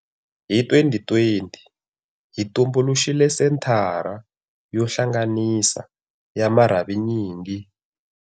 Hi 2020, hi tumbuluxile Senthara yo Hlanganisa ya marhavinyingi.